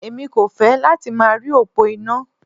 Èmi kò fẹ́ láti máa rí òpó iná.